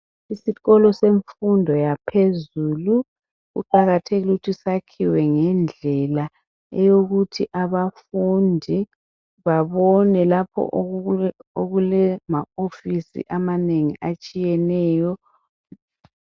Isikolo semfundo yaphezulu kuqakathekile ukuthi sakhiwe ngendlela eyokuthi abafundi babone lapho okule ma office amanengi atshiyeneyo